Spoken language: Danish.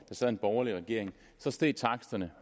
sad en borgerlig regering steg taksterne